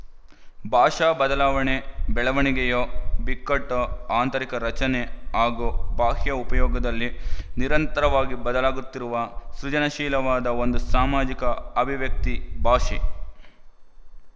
ಭಾಷಾ ಬದಲಾವಣೆ ಬೆಳವಣಿಗೆಯೋ ಬಿಕ್ಕಟ್ಟೋ ಆಂತರಿಕ ರಚನೆ ಹಾಗೂ ಬಾಹ್ಯ ಉಪಯೋಗದಲ್ಲಿ ನಿರಂತರವಾಗಿ ಬದಲಾಗುತ್ತಿರುವ ಸೃಜನಶೀಲವಾದ ಒಂದು ಸಾಮಾಜಿಕ ಅಭಿವ್ಯಕ್ತಿ ಭಾಷೆ